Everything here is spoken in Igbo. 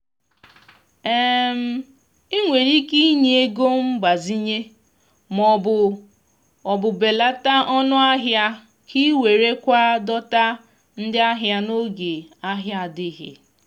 i nwere ike inye ego mgbazinye ma ọ bụ ọ bụ belata ọnụahịa ka i werekwa dọta ndị ahịa n’oge ahịa adịghị